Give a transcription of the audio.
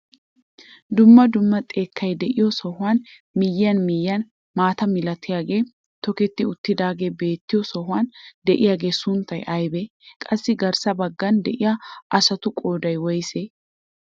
Dumma dumma xekkay de'iyoo sohuwaan miyiyaan miyiyaan maata milatiyaagee toketti uttidagee beettiyoo sohuwaan diyaagaa sunttay aybee? qassi garssa baggan diyaa asatu qooday woysee?